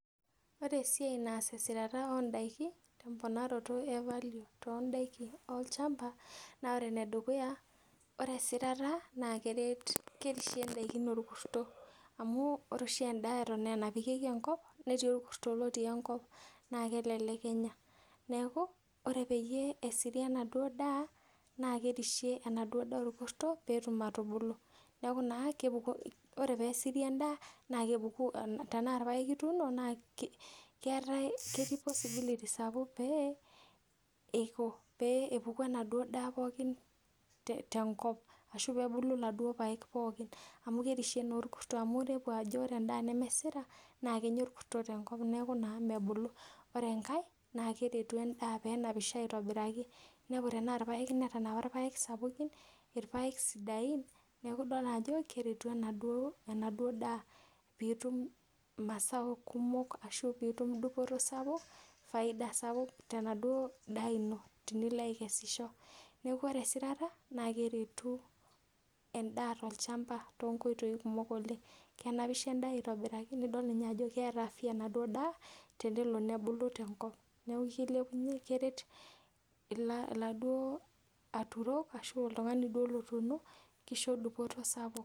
Ore esiai naas esirata oo ndaiki teponaroto e value toondaiki olchamba naa ore enedukuya, ore esirata naa keret, kerishie indaiki orkurto amu ore oshi endaa eton aa enapikieki enkop netii orkurto lotii enkop naa kelelek enya. Neeku ore peyie esiri enaduo daa naa kerishie enaduo daa orkurto peetum atubulu. Neeku naa kepuku, ore peesiri endaa naa kepuku, tenaa irpaek ituuno naa keetae, ketii possibility sapuk pee eiko, pee epuku enaduo daa pookin tenkop ashu peebulu iladuo paek pookin amu kerishie naa orkurto amu inepu ajo ore endaa nemesira kenya orkurto tenkop neeku mebulu. Ore enkae naa keret endaa peenapisho aitobiraki. Inepu tenakata irpaek ootanapa irpaek sapukin, irpaek sidain neeku idol ajo keretu enaduo, enaduo daa piitum mazao kumok ashu piitum dupoto sapuk, faida sapuk tenaduo daa ino tenilo aikesisho. Neeku ore esirata naa keretu endaa tolchamba toonkoitoi kumok oleng. Kenapisho endaa aitobiraki nidol ninye ajo keeta afya enaduo daa tenelo nebulu tenkop. Neeku kilepunye, keret iladuo aturok qshu oltung'ani duo lotuuno, kisho dupoto sapuk